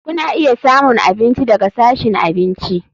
Kuna iya samun abinci daga sashin abinci.